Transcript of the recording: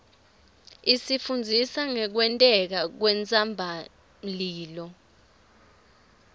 isifundzisa ngekwenteka kwentsabamlilo